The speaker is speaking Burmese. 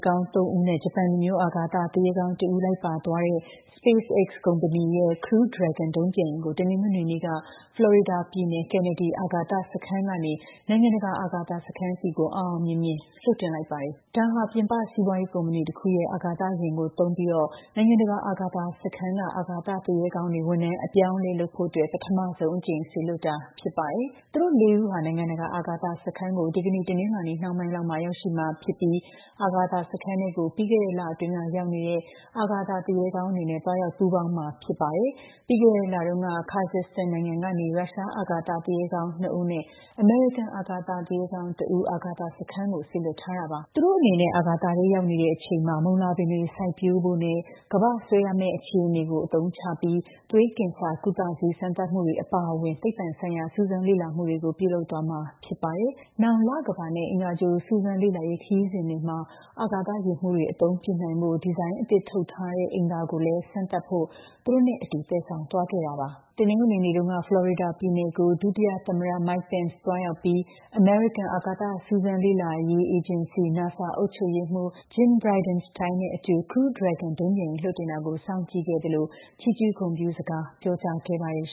ကောင်း ၃ ဦးနဲ့ ဂျပန်လူမျိုး အာကာသသူရဲကောင်း ၁ ဦး လိုက်ပါသွားတဲ့ SpaceX ကုမ္မဏီရဲ့ Crew Dragon ဒုံးပျံယာဉ်ကို တနင်္ဂနွေနေ့က ဖလော်ရီဒါပြည်နယ် kennedy အာကာသစခန်းကနေ နိုင်ငံတကာအာကာသစခန်းဆီကို အောင်အောင်မြင်မြင် လွှတ်တင်လိုက်ပါတယ်။ ဒါဟာ ပြင်ပစီးပွါးရေးကုမ္မဏီတခုရဲ့ အာကာသယာဉ်ကိုသုံးပြီး နိုင်ငံတကာအာကာသစခန်းက အာကာသသူရဲကောင်း တွေ ဝန်ထမ်းအပြောင်းအလဲလုပ်ဖို့အတွက် ပထမဆုံးအကြိမ် စေလွှတ်တာဖြစ်ပါတယ်။ သူတို့ ၄ ဦးဟာ နိုင်ငံတကာ အာကာသစခန်းကို ဒီကနေ့ တနင်္လာနေ့နှောင်းပိုင်းလောက်မှာ ရောက်ရှိမှာဖြစ်ပြီး အာကာသစခန်းထဲကို ပြီးခဲ့တဲ့ လအတွင်းကရောက်နေတဲ့ အာကာသူရဲကောင်းတွေနဲ့ သွားရောက်ပူးပေါင်းမှာ ဖြစ်ပါတယ်။ ပြီးခဲ့တဲ့ လတုန်းက Kazakhstan နိုင်ငံကနေ ရုရှား အာကာသူရဲကောင်း ၂ ဦးနဲ့ အမေရိကန် အာကာသူရဲကောင်း ၁ ဦး အာကာသစခန်းကို စေလွှတ်ထားတာပါ။ သူတို့အနေနဲ့ အာကာသထဲရောက်နေတဲ့ အချိန်မှာ မုန်လာပင်တွေစိုက်ပျိုးဖို့နဲ့ ကမ္ဘာ့ဆွဲအားမဲ့အခြေအနေကို အသုံးချပြီးသွေးကင်ဆာကုသဆေးစမ်းသပ်မှုတွေအပါအဝင် သိပ္ပံဆိုင်ရာ စူးစမ်းလေ့လာမှုတွေကို ပြုလုပ်သွားမှာဖြစ်ပါတယ်။ နောင် လကမ္ဘာနဲ့ အင်္ဂါဂြိုလ်စူးစမ်းလေ့လာရေး ခရီးစဉ်တွေမှာ အာကာသယာဉ်မှုးတွေ အသုံးပြုနိုင်ဖို့ ဒီဇိုင်းအသစ်ထုတ်လုပ်ထားတဲ့ အိမ်သာကိုလည်း စမ်းသပ်ဖို့ သူတို့နဲ့အတူ သယ်ဆောင်သွားခဲ့တာပါ။ တနင်္ဂနွေနေ့တုန်းက ဖလော်ရီဒါပြည်နယ်ကို ဒုတိယသမ္မတ Mike Pence သွားရောက်ပြီး အမေရိကန် အာကာသစူးစမ်းလေ့လာရေး အေဂျင်စီ NASA အုပ်ချုပ်ရေးမှုး Jim Bridenstine နဲ့အတူ Crew Dragon ဒုံးပျံယာဉ်လွှတ်တင်တာကို စောင့်ကြည့်ခဲ့သလို ချီးကျူးဂုဏ်ပြုစကားပြောကြားခဲ့ပါတယ်